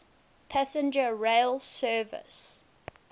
passenger rail service